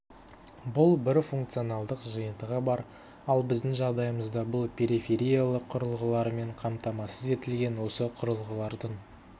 бұл бір функционалдық жиынтығы бар ал біздің жағдайымызда бұл перифериялық құрылғылармен қамтамасыз етілген осы құрылғылардың